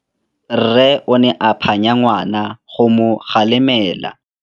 Rre o ne a phanya ngwana go mo galemela.